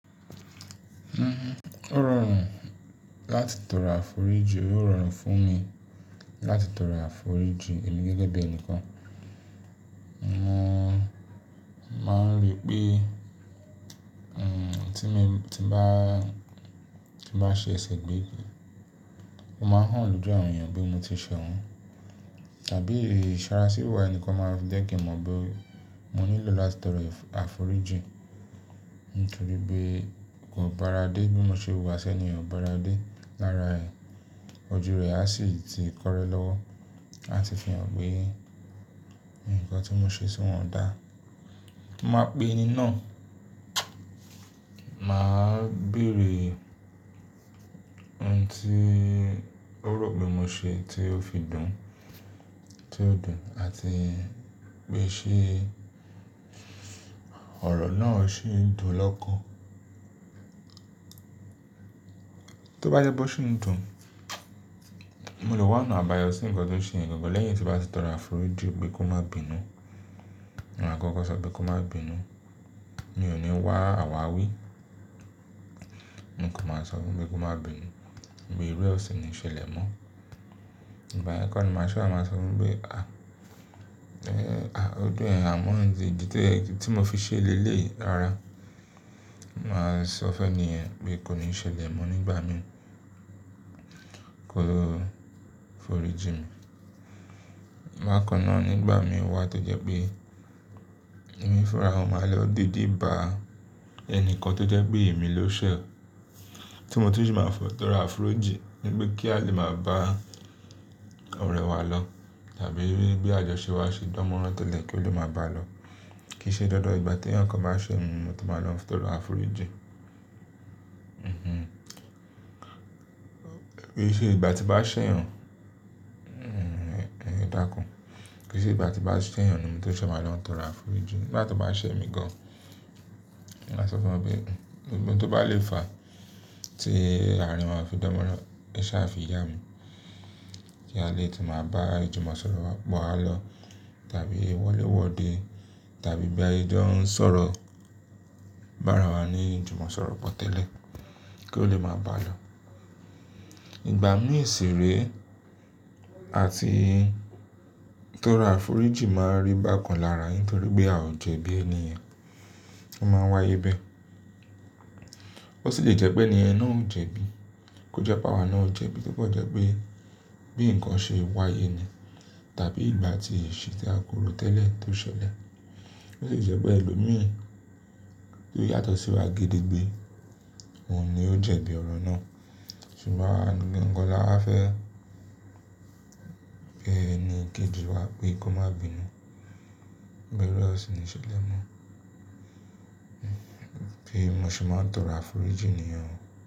Ó rọrùn láti tọrọ àforíjì, ó rọrùn fún mi láti tọrọ àforíjì èmi gẹ́gẹ́ bí ẹnìkan. Mo máa ń rí pé tí mo bá ṣe ẹ̀sẹ̀ gbé, mo máa hàn lọ́ju àwọn ènìyàn pé mo ti ṣe wọ́n. Tàbí ìṣọràsí wa ẹnìkan máa jẹ́kin mọ pe mo nílò láti tọrọ àforíjì. Nítorí pé kò báradé bí mo ṣe wà sẹ́ni ò báradé lára ẹ̀. Ojú rẹ̀ á sì ti kọ́rẹ́ lọ́wọ́, á sì fi hàn pé ǹkan tí mo ṣe sí wọn dà. Mo máa pe ẹni náà, màá bèrè ohun tí ó rò pé mo ṣe tí ó fi dùn, tí ó dùn, àti pé ṣe ọ̀rọ̀ náà ṣì ń dùn lọ́kàn. Tó bá jẹ pé ó ṣì ń dùn, mo lè wá ana àbáyọ sí ǹkan tó ṣe ń gọ̀ lẹ́yìn tí bá ti tọrọ àforíjì pé kó má bínú. Mo máa kọ́kọ́ sọ pé kó má bínú, mi ò ní wá àwáwí, mo kò máa sọ fún pé kó má bínú, wí eru ọ̀sìn ni ṣẹlẹ̀ mọ́. Ìbá ye kor ni màá ṣe wa màá sọ fún pé "à, ojo yẹ á mọ́ idì tí mo fi ṣẹlẹ lélè yi rara". Màá sọ fẹ́ni ẹ pé kò ní ṣẹlẹ̀ mọ́ nígbà mìí, kó lo foríjì mi. Bá kan náà nígbà mìí wá tó jẹ́ pé èmi fúnra mi máa lọ dìdí ba ẹni kan tó jẹ́ pé èmi ló ṣẹ̀, tí mo tu sì máa tọrọ àforíjì. Nípé kí a lè máa bá ọ̀rẹ́ wá lọ tàbí bí àjọṣe wá ṣe dánmọ́rán tẹ́lẹ̀ kí ó lè máa bá lọ. Kì í ṣe dandan ìgbà tí ẹnìkan bá ṣe mi ní mo to máa lọ tọrọ àforíjì. Kì í ṣe ìgbà tí bá ṣẹ̀yàn, edákún. Kì í ṣe ìgbà tí bá ṣẹ̀yàn ni mo tó sẹ́ máa lọ tọrọ àforíjì. Nígbà tó bá ṣẹ̀ mi gan, màá sọ fún wo pe, ohun tó bá le fa tí àárín wa ose dánmọ́rán, ẹ sá fi yá mi. Kí a lè tún máa bá ìjùmọ̀sọ̀rọ̀ wa lọ tàbí wọlé wọde tàbí bí àjọ ń sọ̀rọ̀ bá ara wa ní ìjùmọ̀sọ̀rọ̀ pọ̀ tẹ́lẹ̀ kí ó lè máa bá lọ. Ìgbà mìí ṣiré àti tọrọ àforíjì máa rí bákan lára nítorí pé a ò jẹ̀bi ènìyàn, a máa wáyé bẹ́ẹ̀. Ó sì jẹ́ jẹ́ pé ènìyàn náà ò jẹ̀bi, kó jẹ́ pé àwa náà ò jẹ̀bi tóbọ̀ jẹ́ pé bí ǹkan ṣe wáyé ni tàbí ìgbà tí ìṣí tí a ko rò tẹ́lẹ̀ tó ṣẹlẹ̀. Ó sì jẹ́ pé ẹlòmíì tí ó yàtọ̀ sí wa gidi gbé, òun ni ó jẹ̀bi ọ̀rọ̀ náà. Ṣùgbọ́n ǹkan la fẹ́ pé ẹni kejì wá pé kó má bínú, bí eré ọ̀sìn ni ṣẹlẹ̀ mọ́. Bí mo ṣe máa ń tọrọ àforíjì ènìyàn.